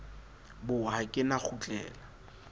bo ha ke no kgutlela